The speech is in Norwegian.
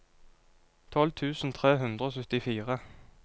tolv tusen tre hundre og syttifire